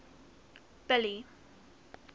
billy